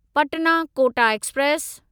Patna Kota express